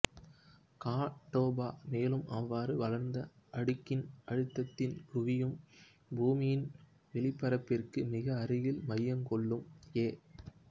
கா டோபா மேலும் அவ்வாறு வளர்ந்த அடுக்கின் அழுத்தத்தின் குவியம் பூமியின் வெளிப்பரப்பிற்கு மிக அருகில் மையம் கொள்ளும் எ